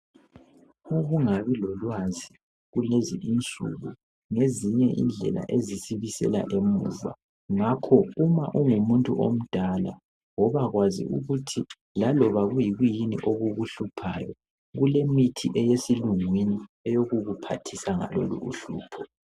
Ukungabi lolwazi kulezi insuku ngezinye indlela ezisibisela emuva ngakho uma ungumuntu omdala woba kwazi ukuthi laloba kuyikwiyini okukuhluphayo kulemithi eyesilungwini eyokukuphathisa ngalolu uhlupho.